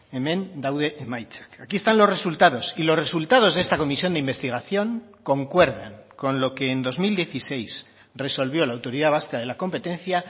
hemen daude emaitzak aquí están los resultados y los resultados de esta comisión de investigación concuerdan con lo que en dos mil dieciséis resolvió la autoridad vasca de la competencia